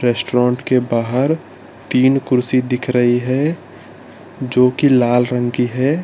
Restaurant के बाहर तीन कुर्सी दिख रही है जोकि लाल रंग की है।